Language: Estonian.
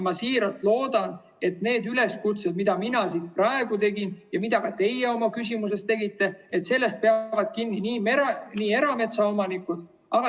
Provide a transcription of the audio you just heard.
Ma siiralt loodan, et neid üleskutseid, mida mina siin praegu tegin ja mida ka teie oma küsimuses tegite, järgivad erametsaomanikud.